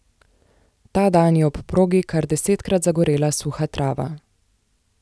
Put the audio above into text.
Ta dan je ob progi kar desetkrat zagorela suha trava.